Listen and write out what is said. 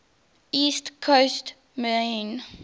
east coast maine